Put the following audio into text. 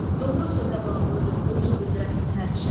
Doğru sözə bağlıdır öz qüdrətin həmişə.